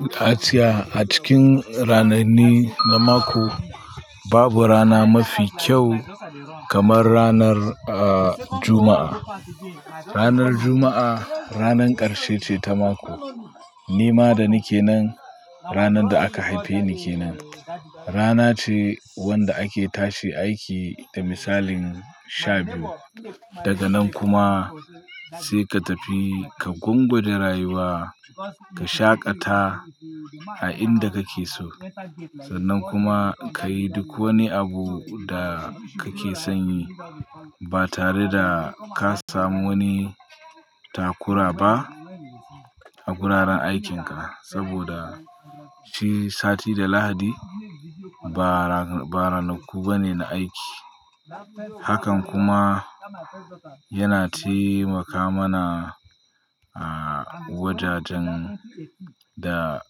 A tsakiya a cikin rananni na mako, babu rana mafi kyau kamar ranar Juma'a. Ranar Juma'a ranan ƙarshe ce ta mako. Ni ma da nike nan, ranar da aka haife ni kenan. Rana ce wanda ake tashi aiki da misalin sha biyu. Daga nan kuma sai ka tafi ka gungura rayuwa, ka shaƙata a inda kake so. Sannan kuma ka yi duk wani abu da kake son yi ba tare da ka samu wani takura ba a wuraren aikinka. Saboda shi sati da Lahadi ba ranaku ba ne na aiki. Hakan kuma yana taimaka mana a wajajen da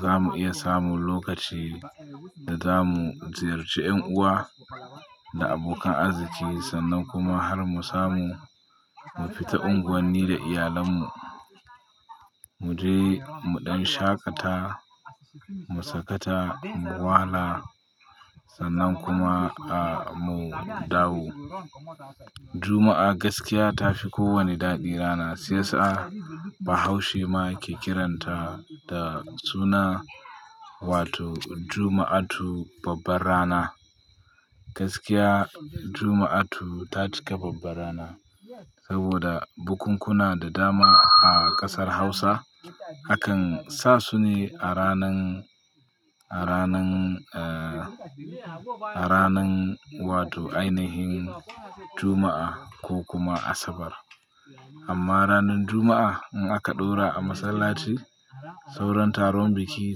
za mu iya samu lokaci da za mu ziyarci 'yan uwa da abokan arziki sannan kuma har mu samu mu fita unguwanni da iyalannu. Mu je muɗin shaƙata, mu sakata, mu wahala sannan kuma a mu dawo. Juma'a gaskiya ta fi kowane daɗi rana. Siya sa Bahaushe ma ke kiranta da suna wato Juma'atu babbar rana. Gaskiya Juma'atu ta ci ka babban rana saboda bukunkuna da dama a ƙasar Hausa hakan sa su ne a ranan, a ranan, a ranan wato ainihin Juma'a ko kuma Asabar. Amma ranar Juma'a in aka ɗora a masallaci, sauran taron biki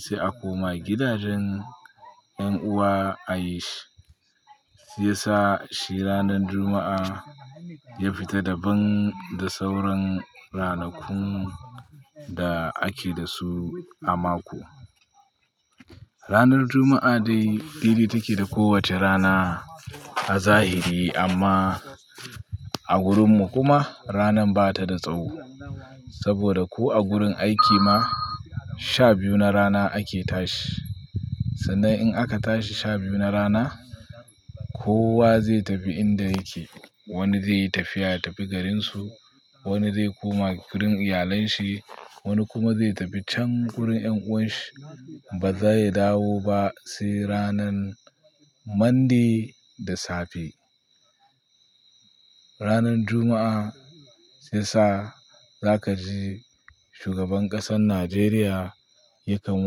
sai a koma gidajen 'yan uwa a yi shi. Shiya sa shi ranar Juma'a ya fita daban da sauran ranakun da ake da su a mako. Ranar Juma'a dai dai-dai take da kowace rana a zahiri amma a gurinmu kuma rana ba ta da tsawo. Saboda ko a gurin aiki ma sha biyu na rana ake tashi. Sannan in aka tashi sha biyu na rana kowa zai tafi inda yake. Wani zai yi tafiya ya tafi garinsu, wani zai koma gurin iyalanshi, wani kuma zai tafi can gurin 'yan'uwanshi ba za ya dawo ba sai ranan Monday da safe. Ranar Juma'a shiya sa za ka ji shugaban ƙasar Najeriya yakan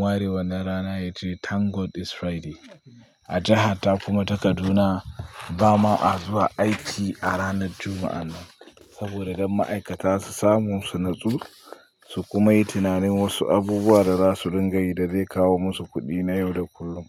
warewa na rana ya ce Thank God it's Friday. A jiha ta kuma ta Kaduna bama a zuwa aiki a ranar Juma'a nan saboda don ma'aikata su samu su natsu su kuma yi tunanin wasu abubuwa da za su dinga yi da zai kawo musu kuɗi na yau da kullum.